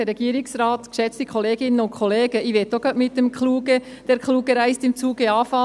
Auch ich möchte gleich mit «der Kluge reist im Zuge» beginnen.